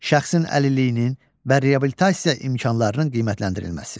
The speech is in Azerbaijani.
Şəxsin əlilliyinin və reabilitasiya imkanlarının qiymətləndirilməsi.